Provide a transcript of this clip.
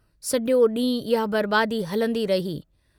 सॼो डींहुं इहा बर्बादी हलंदी रही।